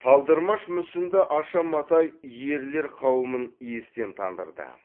талдырмаш мүсінді аша матай ерлер қауымын естен тандырды